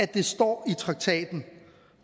det står i traktaten